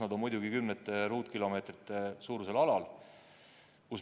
Nad on muidugi paiknenud kümnete ruutkilomeetrite suurusel alal.